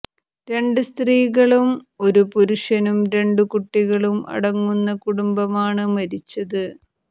രണ്ട് സ്ത്രീകളും ഒരു പുരുഷനും രണ്ടു കുട്ടികളും അടങ്ങുന്ന കുടുംബമാണ് മരിച്ചത്